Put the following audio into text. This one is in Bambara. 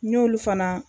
N y'olu fana